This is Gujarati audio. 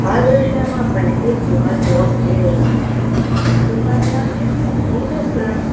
આ દ્રશ્ય માં આપણને એક દુકાન જોવા મળી રહી છે અને આ દુકાન નામ છે ફાજી રેસ્ટોરન્ટ